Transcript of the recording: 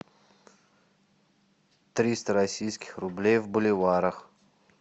триста российских рублей в боливарах